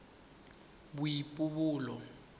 boipobolo